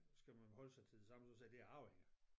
Skal man holde sig til det samme og så sige det er arvinger